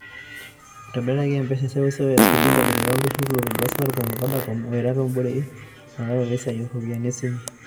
Itobiraki M-Pesa e seuseu esuji enkitobira olturur lotodua Safaricom o Vodacom ewaita te boerei eutaroto esiai e oropiyiani e simu.